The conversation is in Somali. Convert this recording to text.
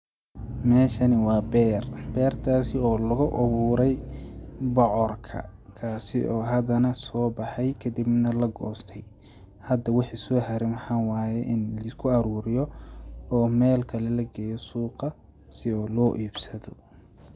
Meshani waa beer, bertaasi oo lagu abuuray bocorka kaasi oo hada nah sobaxay kadhib nah lagostay hada waxi sohare waxaa waye in lisku aruuriyo oo melkale lageeyo suuqa si oo loo ibsado.